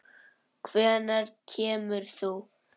Hvenær kemur þú?